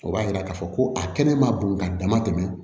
O b'a yira k'a fɔ ko a kɛnɛ ma bon ka dama tɛmɛ